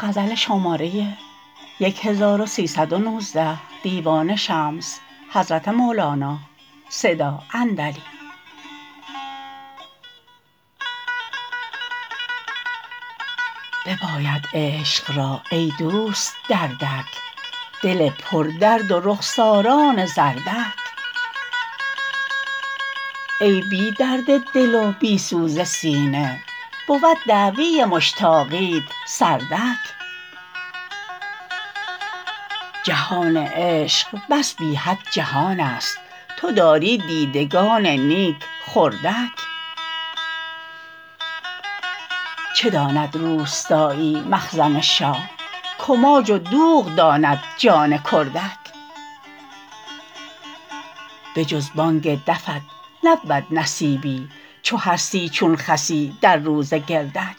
بباید عشق را ای دوست دردک دل پردرد و رخساران زردک که بی درد دل و بی سوز سینه بود دعوی مشتاقیت سردک جهان عشق بس بی حد جهانست تو داری دیدگان نیک خردک چه داند روستایی مخزن شاه کماج و دوغ داند جان کردک بجز بانگ دفت نبود نصیبی چو هستی چون خصی در روز گردک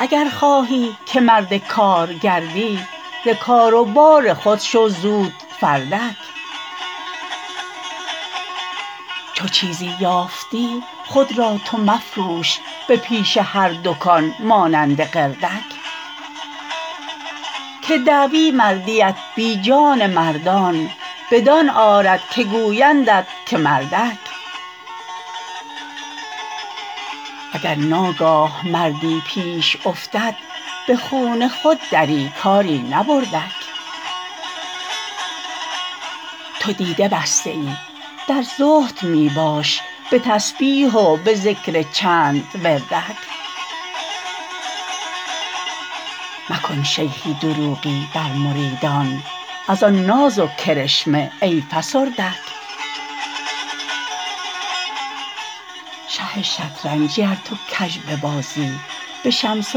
اگر خواهی که مرد کار گردی ز کار و بار خود شو زود فردک چو چیزی یافتی خود را تو مفروش به پیش هر دکان مانند قردک که دعوی مردیت بی جان مردان بدان آرد که گویندت که مردک اگر ناگاه مردی پیش افتد به خون خود دری کاری نبردک تو دیده بسته ای در زهد می باش به تسبیح و به ذکر چند وردک مکن شیخی دروغی بر مریدان ار آن ناز و کرشمه ای فسردک شه شطرنجی ار تو کژ ببازی به شمس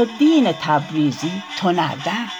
الدین تبریزی تو نردک